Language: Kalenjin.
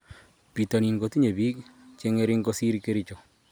Pitonin kotinye biik che ng'ering kosir kericho